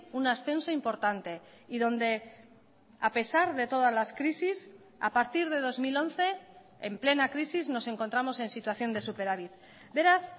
un ascenso importante y donde a pesar de todas las crisis a partir de dos mil once en plena crisis nos encontramos en situación de superávit beraz